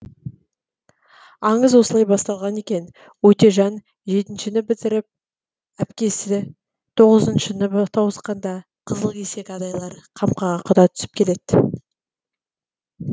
аңыз осылай басталған екен өтежан жетіншіні бітіріп әпкесі тоғызыншыны тауысқанда қызыл кесек адайлар қамқаға құда түсіп келеді